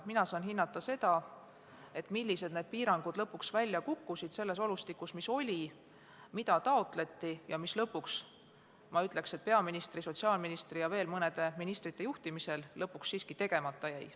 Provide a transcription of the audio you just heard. Mina saan hinnata seda, millisena need piirangud lõpuks välja kukkusid selles olustikus, mis oli, ning mida taotleti ja mis lõpuks, ma ütleks, et peaministri, sotsiaalministri ja veel mõne ministri juhtimisel siiski tegemata jäi.